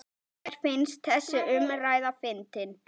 Mér finnst þessi umræða fyndin.